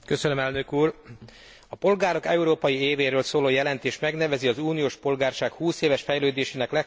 A polgárok európai évéről szóló jelentés megnevezi az uniós polgárság húszéves fejlődésének legfontosabb állomásait.